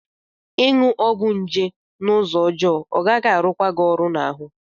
Ị ṅụ ọgwụ nje n'ụzọ ọjọọ, ọ gaghị arụ kwa gị ọrụ n'ahụ.